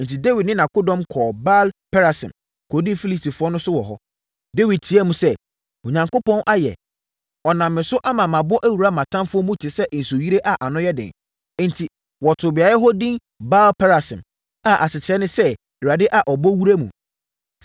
Enti, Dawid ne nʼakodɔm kɔɔ Baal-Perasim kɔdii Filistifoɔ no so wɔ hɔ. Dawid teaam sɛ, “Onyankopɔn ayɛ! Ɔnam me so ama mabɔ awura mʼatamfoɔ mu te sɛ nsuyire a ano yɛ den.” Enti, wɔtoo beaeɛ hɔ edin Baal-Perasim (a asekyerɛ ne sɛ “Awurade a ɔbɔ wura mu”).